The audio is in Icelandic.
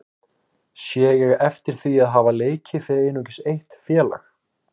Sé ég heftir því að hafa leikið fyrir einungis eitt félag?